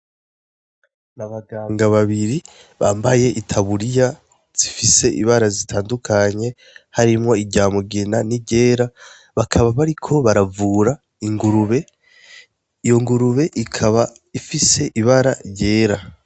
Nabaganga babiri bambaye itaburiya zifise ibara zitandukanye harimwo irya mugina, nirera, bakaba bariko baravura ingurube iyo ngurube ikaba ifise ibara ryera.